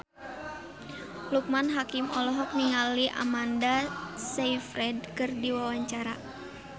Loekman Hakim olohok ningali Amanda Sayfried keur diwawancara